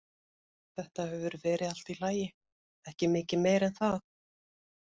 Þetta hefur verið allt í lagi, ekki mikið meira en það.